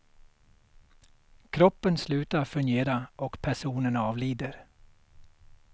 Kroppen slutar fungera och personen avlider.